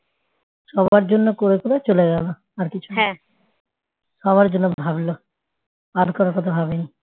সবার জন্য করে করে চলে গেল আর কিছু সবার জন্য ভাবল আর কারো কথা ভাবেনি